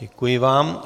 Děkuji vám.